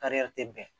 Kariya tɛ bɛn